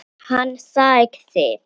Hann sagði: